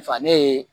Fa ne ye